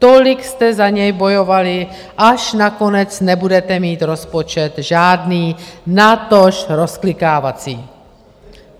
Tolik jste za něj bojovali, až nakonec nebudete mít rozpočet žádný, natož rozklikávací.